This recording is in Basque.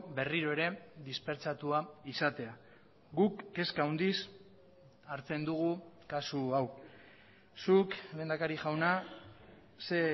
berriro ere dispertsatua izatea guk kezka handiz hartzen dugu kasu hau zuk lehendakari jauna ze